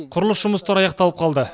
құрылыс жұмыстары аяқталып қалды